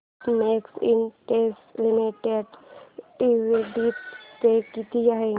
Sintex industries limited dividend pay किती आहे